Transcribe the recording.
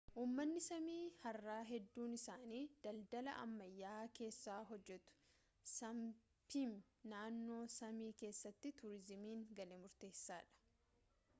uummanni saamii har'a hedduun isaanii dandala ammayyaa keessaa hojjetu saapmi naannoo saamii keessatti tuuriizimiin galii murteessaadha